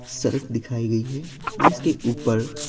सड़क दिखाई गई है जिसके ऊपर--